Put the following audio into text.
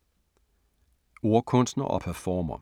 Ordkunstner og performer